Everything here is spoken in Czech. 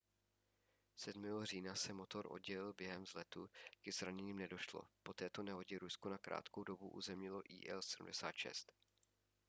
7. října se motor oddělil během vzletu ke zraněním nedošlo po této nehodě rusko na krátkou dobu uzemnilo il-76